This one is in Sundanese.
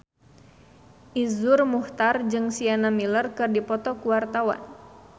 Iszur Muchtar jeung Sienna Miller keur dipoto ku wartawan